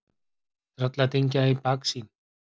Trölladyngja í baksýn.